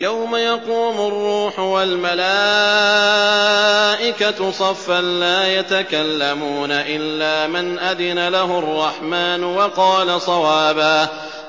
يَوْمَ يَقُومُ الرُّوحُ وَالْمَلَائِكَةُ صَفًّا ۖ لَّا يَتَكَلَّمُونَ إِلَّا مَنْ أَذِنَ لَهُ الرَّحْمَٰنُ وَقَالَ صَوَابًا